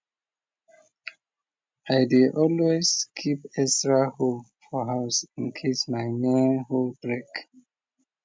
i dey always keep extra hoe for house in case my main hoe break